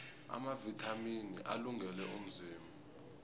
amavithamini alungele umzimba